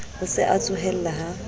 o se a tsohella ha